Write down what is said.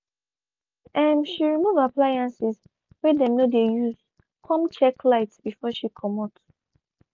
um she removed appliances wey dem no de use come check lights before she comot